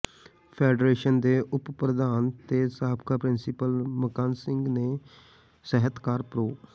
federation ਦੇ ਉਪ ਪ੍ਰਧਾਨ ਤੇ ਸਾਬਕਾ ਪਿੰਸੀਪਲ ਮੁਕੰਦ ਸਿੰਘ ਤੇ ਸਾਹਿਤਕਾਰ ਪ੍ਰੋ